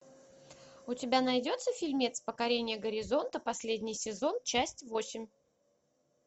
у тебя найдется фильмец покорение горизонта последний сезон часть восемь